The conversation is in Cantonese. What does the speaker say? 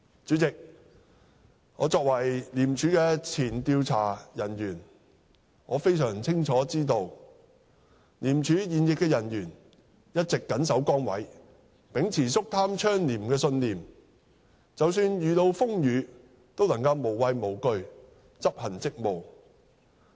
主席，我作為前廉署調查人員，非常清楚知道廉署現役人員一直謹守崗位，秉持肅貪倡廉的信念，即使遇到風雨，都能無畏無懼執行職務。